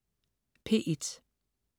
P1: